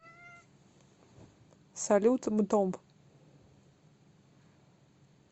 салют мтомб